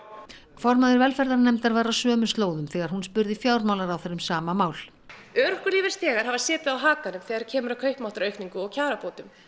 formaður velferðarnefndar var á sömu slóðum þegar hún spurði fjármálaráðherra um sama mál örorkulífeyrisþegar hafa setið á hakanum þegar kemur að kaupmáttaraukningu og kjarabótum